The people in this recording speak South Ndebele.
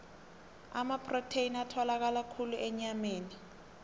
amaprotheni atholakala khulu enyameni